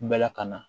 Bɛɛ lakana